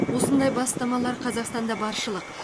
осындай бастамалар қазақстанда баршылық